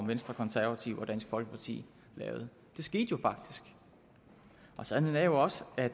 venstre konservative og dansk folkeparti lavede det skete jo faktisk og sandheden er jo også at